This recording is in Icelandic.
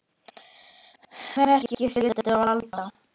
Verki skyldu valda